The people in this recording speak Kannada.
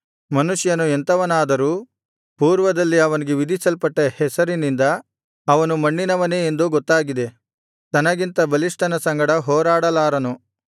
ಮನುಷ್ಯನು ಎಂಥವನಾದರೂ ಪೂರ್ವದಲ್ಲಿ ಅವನಿಗೆ ವಿಧಿಸಲ್ಪಟ್ಟ ಹೆಸರಿನಿಂದ ಅವನು ಮಣ್ಣಿನವನೇ ಎಂದು ಗೊತ್ತಾಗಿದೆ ತನಗಿಂತ ಬಲಿಷ್ಠನ ಸಂಗಡ ಹೋರಾಡಲಾರನು